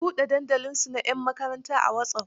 Sun buɗe dadalinsu na 'yan makaranta a wasop.